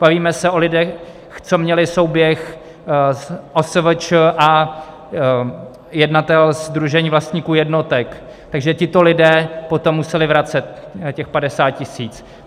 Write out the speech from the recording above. Bavíme se o lidech, co měli souběh OSVČ a jednatel sdružení vlastníků jednotek, takže tito lidé potom museli vracet těch 50 tisíc.